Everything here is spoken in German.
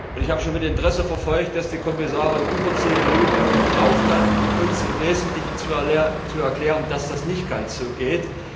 Ich habe mit Interesse verfolgt, dass die Kommissarin über zehn Minuten gebraucht hat, uns im Wesentlichen zu erklären, dass das nicht ganz so geht.